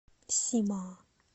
сима